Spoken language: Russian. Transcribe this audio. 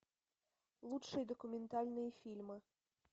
лучшие документальные фильмы